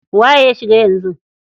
Waye ya shiga yanzu?